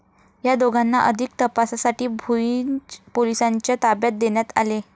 या दोघांना अधिक तपासासाठी भुईंज पोलिसांच्या ताब्यात देण्यात आले आहे.